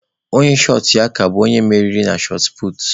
Onye shọt ya ka tee aka bụ onye mmeri na shọt puutu.